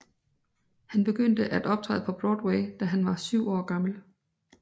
Han begyndte at optræde på Broadway da han var 7 år gammel